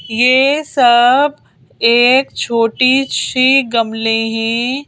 ये सब एक छोटी सी गमले हैं।